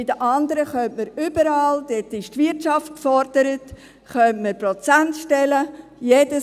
Bei den anderen könnte man überall – da ist die Wirtschaft gefordert – Prozentstellen schaffen.